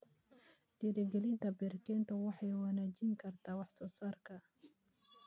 Dhiirigelinta beero-kaynta waxay wanaajin kartaa wax soo saarka.